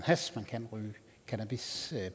hash man kan ryge cannabis